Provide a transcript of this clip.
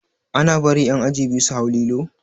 Ana bari ƴan aji biyu su hau lilo?